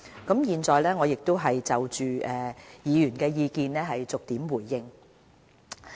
我現在就議員的意見逐點作出回應。